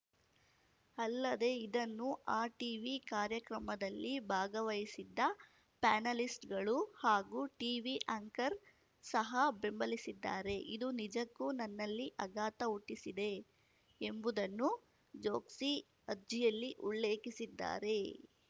ಅಲ್ಲದೆ ಇದನ್ನು ಆ ಟೀವಿ ಕಾರ್ಯಕ್ರಮದಲ್ಲಿ ಭಾಗವಹಿಸಿದ್ದ ಪ್ಯಾನಲಿಸ್ಟ್‌ಗಳು ಹಾಗೂ ಟೀವಿ ಆ್ಯಂಕರ್ ಸಹ ಬೆಂಬಲಿಸಿದ್ದಾರೆ ಇದು ನಿಜಕ್ಕೂ ನನ್ನಲ್ಲಿ ಆಘಾತ ಹುಟ್ಟಿಸಿದೆ ಎಂಬುದನ್ನು ಜೋಕ್ಸಿ ಅರ್ಜಿಯಲ್ಲಿ ಉಳ್ಳೇಖಿಸಿದ್ದಾರೆ